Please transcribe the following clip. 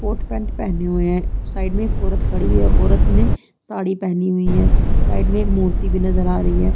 Court pant पहने हुए है साइड में एक औरत खड़ी है औरत ने साड़ी पहनी हुई है साइड में एक मूर्ति भी नज़र आ रही है।